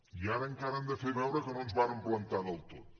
i ara encara han de fer veure que no ens vàrem plantar del tot